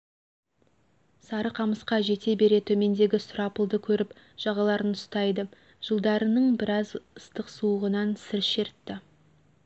сарықамысқа жете бере төмендегі сұрапылды көріп жағаларын ұстайды жылдарының біраз ыстық суығынан сыр шертті